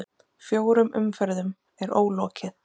Fjórum umferðum er ólokið